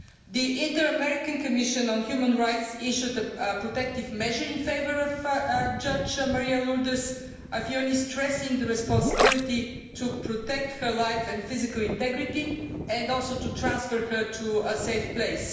The Inter American Commission on Human Rights issued a protective measure in favour of Judge María Lourdes Afiuni, stressing the responsibility to protect her life and physical integrity and also to transfer her to a safe place.